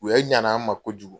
U yɛrɛ ɲan'an ma kojugu.